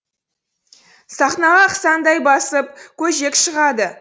сахнаға ақсаңдай басып көжек шығады